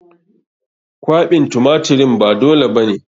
Kwaɓin tumatirin ba dole ba ne.